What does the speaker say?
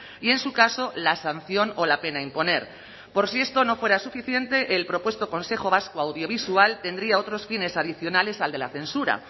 y en su caso la sanción o la pena a imponer por si esto no fuera suficiente el propuesto consejo vasco audiovisual tendría otros fines adicionales al de la censura